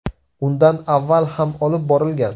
Undan avval ham olib borilgan.